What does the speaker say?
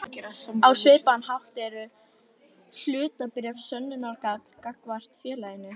Á svipaðan hátt eru hlutabréf sönnunargagn gagnvart félaginu.